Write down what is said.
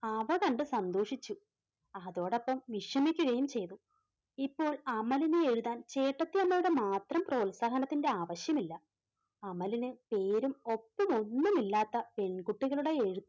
അവ കണ്ട് സന്തോഷിച്ചു അതോടൊപ്പം വിഷമിക്കുകയും ചെയ്തു. ഇപ്പോൾ അമലിനെ എഴുതാൻ ചേട്ടത്തിയമ്മയുടെ മാത്രം പ്രോത്സാഹത്തിന്റെ ആവശ്യമില്ല. അമലിന് പേരും ഒപ്പും ഒന്നുമില്ലാത്ത പെൺകുട്ടികളുടെ എഴുത്ത്